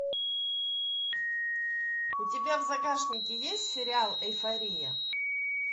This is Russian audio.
у тебя в загашнике есть сериал эйфория